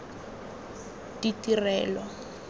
ditirelo